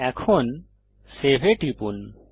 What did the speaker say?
এখন সেভ এ টিপুন